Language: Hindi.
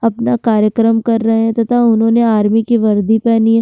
अपना कार्यक्रम कर रहे हैं तथा उन्होंने आर्मी की वरदी पहनी है।